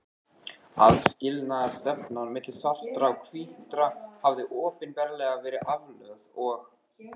Aðskilnaðarstefnan milli svartra og hvítra hafði opinberlega verið aflögð og